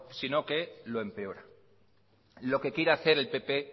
sino que lo empeora lo que quiere hacer el pp